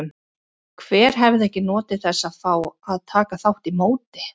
Hver hefði ekki notið þess að fá að taka þátt í móti?